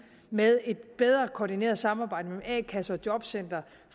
med et bedre koordineret samarbejde mellem a kasse og jobcenter